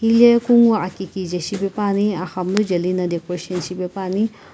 hile kunguu aki kije shipepuani axamunu jeli na decoration shi pepuani.